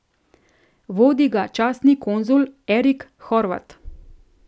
Vodi ga častni konzul Erik Horvat.